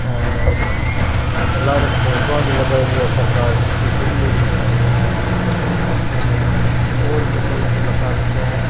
ओर लारे फोटो भी लगायोडी है सरदार जी की बन्दुक लिया खड़िया है ओर और भी पोस्टर लगा राख्या है।